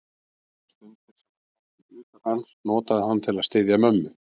Allar stundir, sem hann átti utan hans, notaði hann til að styðja mömmu.